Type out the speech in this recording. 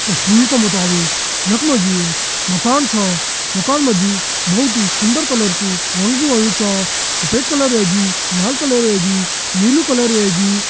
तस्वीर का मुताबिक यख मा जी एक मकान छा मकान मा जी बहोत ही सुन्दर कलर कु रंग भी होयुं च सफेद कलर वेगि लाल कलर वेगि नीलू कलर वेगि --